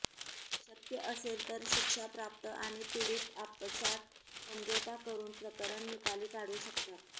शक्य असेल तर शिक्षा प्राप्त आणि पीडित आपसांत समझोता करुन प्रकरण निकाली काढू शकतात